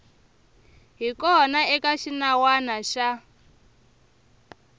hi kona eka xinawana xa